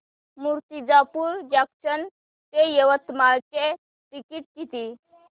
Murtijapur junction ते यवतमाळ चे तिकीट किती